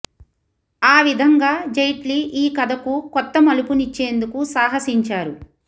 ఆ విధంగా జైట్లీ ఈ కథకు కొత్త మలుపు నిచ్చేందుకు సాహసించారు